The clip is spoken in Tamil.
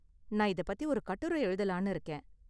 நான் இதப் பத்தி ஒரு கட்டுர எழுதலாம்னு இருக்கேன்.